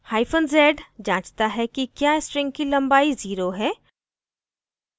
hyphen z जाँचता है कि क्या string की लम्बाई zero है